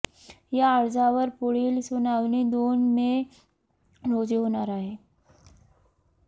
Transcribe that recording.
या अर्जावर पुढील सुनावणी दोन मे रोजी होणार आहे